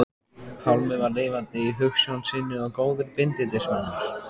Pálmi var lifandi í hugsjón sinni og góður bindindismaður.